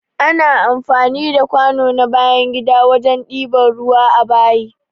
Ana amfani da kwano na bayan gida wajen ɗiba ruwa a bayi.